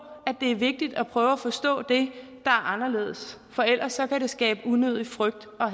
at det er vigtigt at prøve at forstå det er anderledes for ellers kan det skabe unødig frygt og